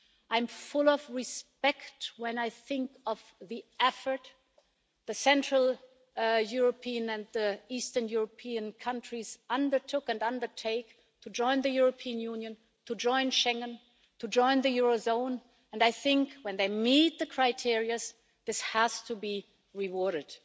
I'm full of respect when I think of the effort that the central European and the eastern European countries undertook and undertake to join the European Union, to join Schengen, to join the eurozone, and I think when they meet the criteria, this has to be rewarded.